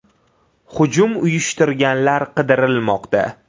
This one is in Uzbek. Hujum uyushtirganlar qidirilmoqda.